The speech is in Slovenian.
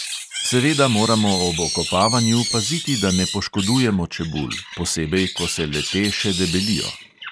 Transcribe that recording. Seveda moramo ob okopavanju paziti, da ne poškodujemo čebul, posebej, ko se le te še debelijo.